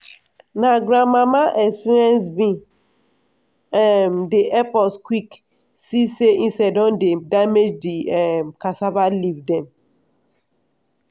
na grandmama experience bin um dey help us quick see say insect don dey damage di um cassava leaf dem.